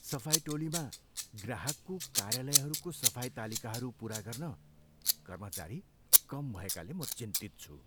सफाइ टोलीमा ग्राहकको कार्यालयहरूको सफाई तालिकाहरू पुरा गर्न कर्मचारी कम भएकाले म चिन्तित छु।